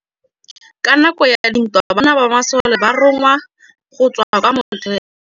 Ka nakô ya dintwa banna ba masole ba rongwa go tswa kwa mothêô.